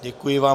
Děkuji vám.